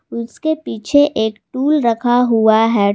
उसके पीछे एक टूल रखा हुआ है।